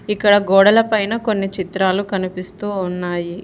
ఇక్కడ గోడలపైన కొన్ని చిత్రాలు కనిపిస్తూ ఉన్నాయి.